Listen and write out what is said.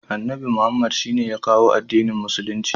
Annabi Muhammadu shine ya kawo addinin musulunci.